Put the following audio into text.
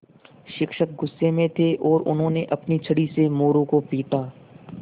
शिक्षक गुस्से में थे और उन्होंने अपनी छड़ी से मोरू को पीटा